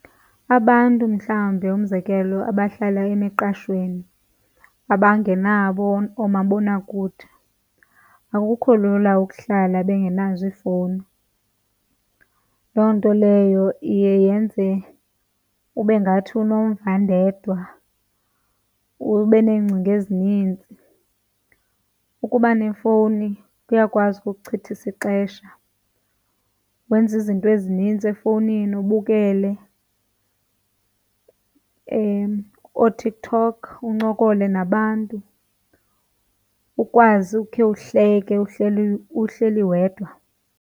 Abantu mhlawumbe, umzekelo abahlala emiqashweni, abangenabo oomabonakude akukho lula ukuhlala bengenazo iifowuni. Loo nto leyo iye yenze ube ngathi unomvandedwa, ube neengcinga ezinintsi. Ukuba nefowuni kuyakwazi ukukuchithisa ixesha wenze izinto ezininzi efowunini, ubukele ooTikTok, uncokole nabantu, ukwazi ukhe uhleke uhleli uhleli wedwa.